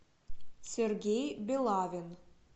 сергей белавин